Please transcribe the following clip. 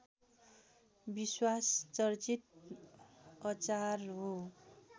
विश्वमा चर्चित अचार हो